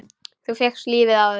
Þú fékkst lífið aftur.